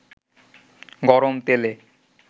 গরম তেলে